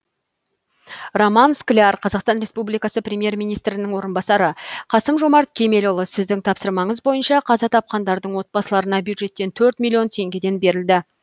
роман скляр қазақстан республикасы премьер министрінің орынбасары қасым жомарт кемелұлы сіздің тапсырмаңыз бойынша қаза тапқандардың отбасыларына бюджеттен төрт миллион теңгеден берілді